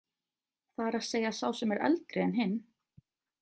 Það er að segja sá sem er eldri en hinn.